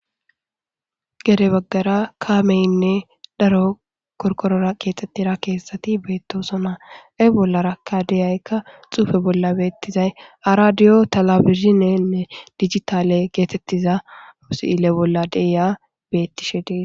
Gedde baggara kameyinne darro qoriqqoror kexetida a kethati betosona. He bollara deyikka xufe bollara betizay aradio televisionnne digital getetiza sile bolla deyi betishe desi